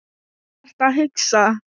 Hvað ertu að hugsa?